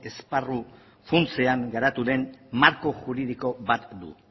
esparru funtsean garatu den marko juridiko bat du